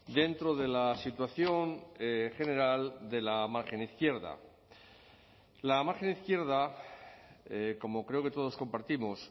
dentro de la situación general de la margen izquierda la margen izquierda como creo que todos compartimos